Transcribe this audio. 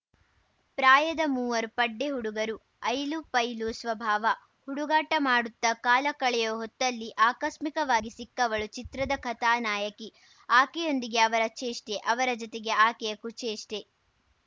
ಪ್ರಾಯದ ಮೂವರು ಪಡ್ಡೆ ಹುಡುಗರು ಐಲುಪೈಲು ಸ್ವಭಾವ ಹುಡುಗಾಟ ಮಾಡುತ್ತಾ ಕಾಲ ಕಳೆಯುವ ಹೊತ್ತಲ್ಲಿ ಆಕಸ್ಮಿಕವಾಗಿ ಸಿಕ್ಕವಳು ಚಿತ್ರದ ಕಥಾನಾಯಕಿ ಆಕೆಯೊಂದಿಗೆ ಅವರ ಚೇಷ್ಟೆ ಅವರ ಜತೆಗೆ ಆಕೆಯ ಕುಚೇಷ್ಟೆ